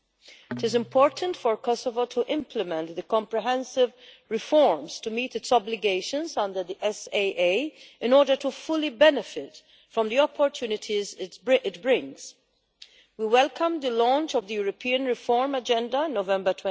It is important for Kosovo to implement the comprehensive reforms to meet its obligations under the SAA in order to fully benefit from the opportunities it brings. We welcome the launch of the European Reform Agenda in November